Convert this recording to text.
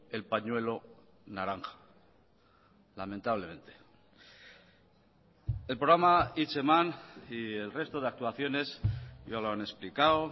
el pañuelo naranja lamentablemente el programa hitzeman y el resto de actuaciones ya lo han explicado